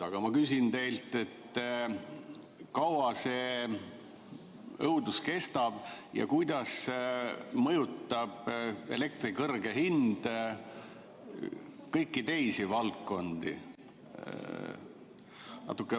Aga ma küsin teilt, kui kaua see õudus kestab ja kuidas mõjutab elektri kõrge hind kõiki teisi valdkondi.